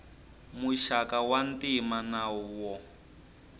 muxaka wa ntima na wo